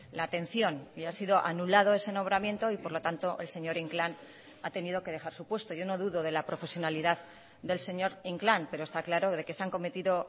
la atención y ha sido anulado ese nombramiento y por lo tanto el señor inclán ha tenido que dejar su puesto yo no dudo de la profesionalidad del señor inclán pero está claro de que se han cometido